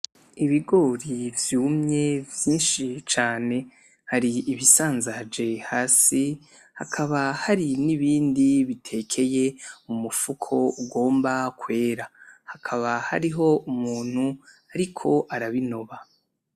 Ibigori vyumye vyinshi cane, hari ibisanzaje hasi hakaba hari n'ibindi bitekeye mu mufuko ugomba kwera. Hakaba hariho umuntu ariko arabinoba.